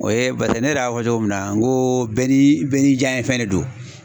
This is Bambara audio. O ye barisa ne yɛrɛ y'a fɔ cogo min na n ko bɛɛ ni bɛɛ n'i janɲɛ fɛn de do.